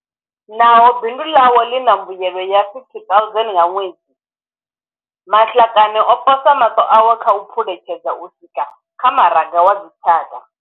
Naho bindu ḽawe ḽi na mbuelo ya R50 000 nga ṅwedzi, Matlakane o posa maṱo awe kha u phuletshedza u swika kha maraga wa dzitshaka.